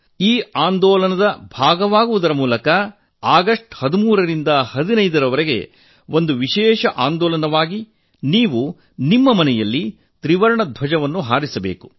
ಈ ಅಭಿಯಾನದಲ್ಲಿ ಭಾಗಿಯಾಗುವ ಮೂಲಕ ಆಗಸ್ಟ್ 13 ರಿಂದ 15 ರವರೆಗೆ ಒಂದು ವಿಶೇಷ ಅಭಿಯಾನದಲ್ಲಿ ನೀವು ನಿಮ್ಮ ಮನೆಯಲ್ಲಿ ತ್ರಿವರ್ಣ ಧ್ವಜ ಹಾರಿಸಬೇಕು